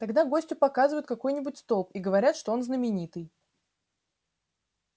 тогда гостю показывают какой-нибудь столб и говорят что он знаменитый